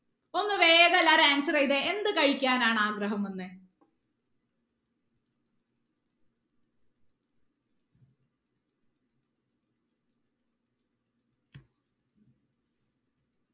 ഒന്ന് വേഗം എല്ലാരും answer ചെയ്തേ എന്ത് കഴിക്കാനാണ് ആഗ്രഹം വന്നത്